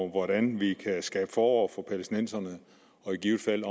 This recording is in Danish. hvordan vi kan skabe forår for palæstinenserne og i givet fald